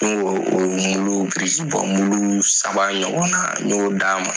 N ko birikibɔ saba ɲɔgɔn na y'o d'a ma.